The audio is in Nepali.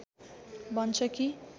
भन्छ कि